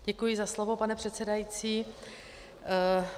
Děkuji za slovo, pane předsedající.